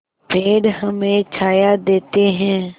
पेड़ हमें छाया देते हैं